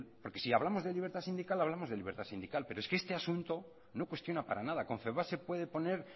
porque si hablamos de libertad sindical hablamos de libertad sindical pero es que este asunto no cuestiona para nada confebask se puede poner